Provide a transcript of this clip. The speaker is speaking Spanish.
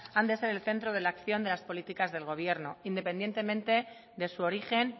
han de ser el centro de la acción de las políticas del gobierno independientemente de su origen